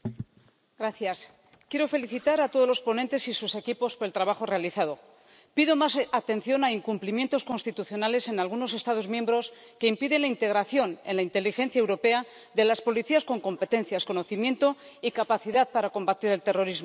Señora presidenta, quiero felicitar a todos los ponentes y sus equipos por el trabajo realizado. Pido más atención a incumplimientos constitucionales en algunos Estados miembros que impiden la integración en la inteligencia europea de las policías con competencias, conocimiento y capacidad para combatir el terrorismo.